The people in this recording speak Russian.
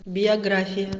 биография